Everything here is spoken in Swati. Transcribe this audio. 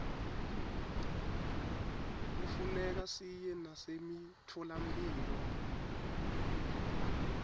kufuneka siye nasemitfolamphilo